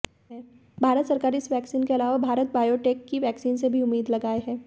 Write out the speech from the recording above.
भारत सरकार इस वैक्सीइन के अलावा भारत बायोटेक की वैक्सीरन से भी उम्मी्द लगाए है